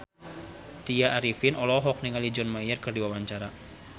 Tya Arifin olohok ningali John Mayer keur diwawancara